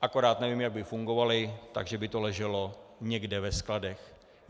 Akorát nevím, jak by fungovaly, takže by to leželo někde ve skladech.